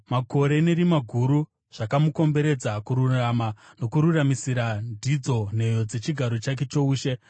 Makore nerima guru zvakamukomberedza; kururama nokururamisira ndidzo nheyo dzechigaro chake choushe.